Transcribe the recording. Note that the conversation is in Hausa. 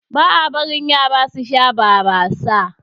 Ba a barin Yara su Sha barasa.